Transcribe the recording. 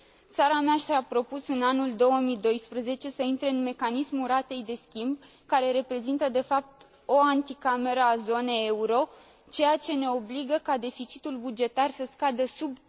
Țara mea și a propus în anul 2012 să intre în mecanismul ratei de schimb, care reprezintă de fapt o anticameră a zonei euro, ceea ce ne obligă ca deficitul bugetar să scadă sub